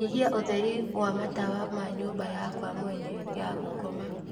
nyihia ūtheri wa matawa ma nyūmba yakwa mwene ya gūkoma